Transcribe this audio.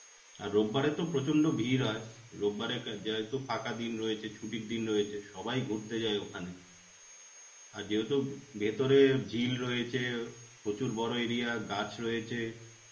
আর রোববারে তো প্রচন্ড ভীড় হয়. রোববারে কা যেহেতু ফাঁকা দিন রয়েছে ছুটির দিন রয়েছে. সবাই ঘুরতে যায় ওখানে. আর যেহেতু ভিতরে ঝিল রয়েছে, প্রচুর বড় area গাছ রয়েছে.